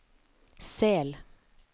Sel